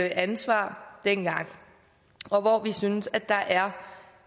ansvar dengang og hvor vi synes der er